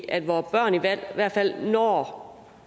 at vores børn i hvert hvert fald når